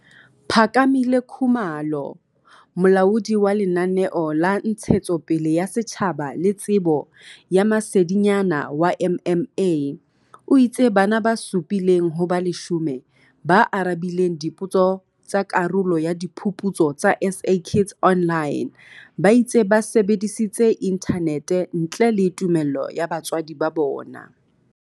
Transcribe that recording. Phakamile Khumalo, Molaodi wa Lenaneo la Ntshetsopele ya Setjhaba le Tsebo ya Masedinyana wa MMA, o itse bana ba supi leng ho ba 10 ba arabileng dipotso tsa karolo ya Diphuputso tsa SA Kids Online ba itse ba sebedisitse inthanete ntle le tumello ya batswadi ba bona.